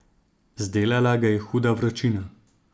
Zdelala ga je huda vročina.